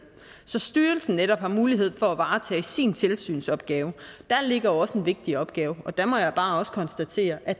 så styrelsen netop har mulighed for at varetage sin tilsynsopgave der ligger også en vigtig opgave og der må jeg bare også konstatere at